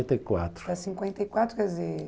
até cinquenta e quatro, quer dizer,